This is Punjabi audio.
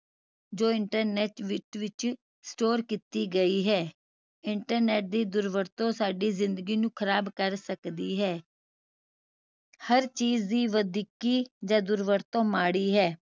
ਜੋ internet ਵਿਚ ਵਿਚ store ਕੀਤੀ ਗਈ ਹੈ internet ਦੀ ਦੁਰਵਰਤੋਂ ਸਾਡੀ ਜ਼ਿੰਦਗੀ ਨੂੰ ਖਰਾਬ ਕਰ ਸਕਦੀ ਹੈ ਹਰ ਚੀਜ਼ ਦੀ ਵਧੀਕੀ ਜਾ ਦੁਰਵਰਤੋਂ ਮਾੜੀ ਹੈ